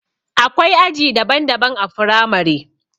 Akwai aji daban daban a firamare